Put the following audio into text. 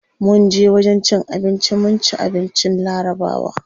Munje wajen cin abinci mun ci abincin larabawa.